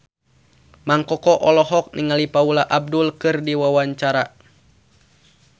Mang Koko olohok ningali Paula Abdul keur diwawancara